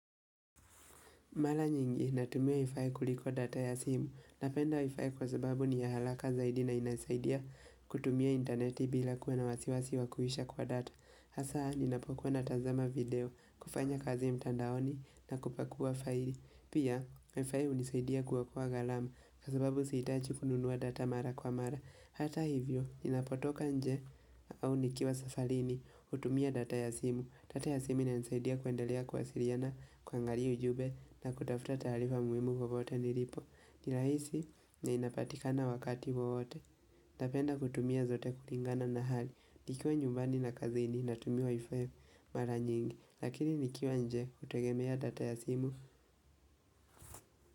Mala nyingi, natumia Wi-Fi kuliko data ya simu, napenda Wi-Fi kwa sababu ni ya halaka zaidi na inasaidia kutumia interneti bila kuwa na wasiwasi wakuisha kwa data. Hasa, ninapokuwa na tazama video, kufanya kazi mtandaoni na kupakua faili. Pia, Wi-Fi hunisaidia kuokoa ghalama, kwa sababu siitaji kununua data mara kwa mara. Hata hivyo, ninapotoka nje au nikiwa safalini, hutumia data ya simu. Data ya simu inanisaidia kuendelea kuwasiriana, kuangaria ujube na kutafuta taaarifa muimu wowote nilipo Nilahisi na inapatikana wakati wowote Napenda kutumia zote kuringana na hali nikiwa nyumbani na kazini na tumia wi-fi mara nyingi Lakini nikiwa nje hutegemea data ya simu.